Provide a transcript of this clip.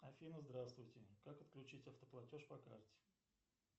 афина здравствуйте как отключить автоплатеж по карте